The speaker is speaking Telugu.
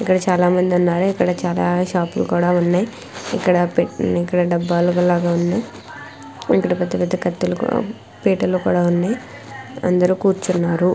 ఇక్కడ చాల మంది ఉన్నారు చాల షాపులు కూడా ఉన్నాయి ఇక్కడ పెయింట్ డబ్బాలు కూడా ఉన్నాయి ఇక్కడ పెద్ద పెద్ద కత్తులు కూడా పీటలు కూడా ఉన్నాయి ఇక్కడ నడరు కూర్చున్నారు .